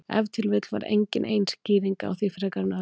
Ef til vill var engin ein skýring á því frekar en öðru.